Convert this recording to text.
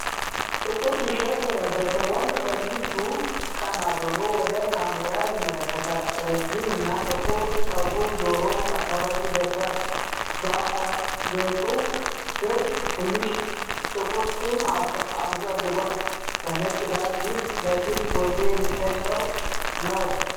ጥቁር ቲሸርት የለበሰ ወንድ ከፊቱ ቀና ብሎ ወደ ካሜራ ይመለከታል። ረጅም እና ጥቁር ጸጉሩ ጆሮው አካባቢ ደርሷል፤ በአገጩ ስር ትንሽዬ ጥቁር ጢም አሳድጓል። በነጭ ዳራ ፊት ለፊት ጎልቶ የሚታይ ሰው ነው።